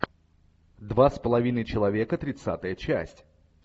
два с половиной человека тридцатая часть